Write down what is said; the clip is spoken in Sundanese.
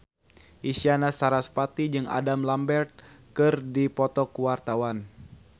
Isyana Sarasvati jeung Adam Lambert keur dipoto ku wartawan